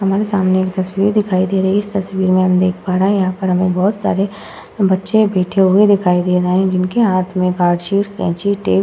हमारे सामने एक तस्वीर दिखाई दे रही है। इस तस्वीर में हम देख पा रहे हैं यहां पर हमें बहोत सारे बच्चे बैठे हुए दिखाई दे रहे हैं जिनके हाथ में कार्डशीट कैंची टेप --